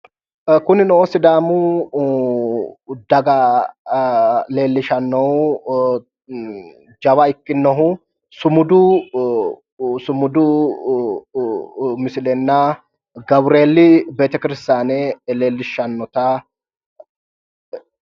Kunnino sidaamu daga leelishanohu jawa ikkinohu sumudu mislilenna gawureeli betekiristaane leelishanota.